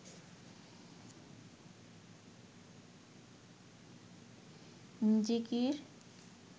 জিকির